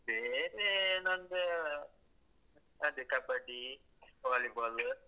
ಬೇರೆ ನಂಗೆ ಅದೆ kabaddi, volleyball .